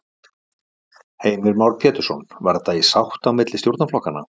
Heimir Már Pétursson: Var þetta í sátt á milli stjórnarflokkanna?